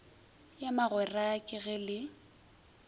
ya magwera ka ge le